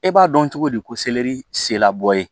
E b'a dɔn cogo di ko selɛri sela bɔ ye